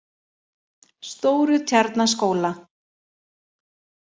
Stórutjarnaskóla